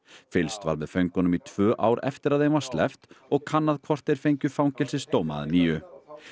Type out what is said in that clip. fylgst var með föngunum í tvö ár eftir að þeim var sleppt og kannað hvort þeir fengju fangelsisdóma að nýju